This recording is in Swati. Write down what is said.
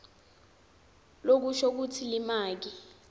lokusho kutsi limaki